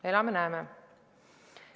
Elame-näeme!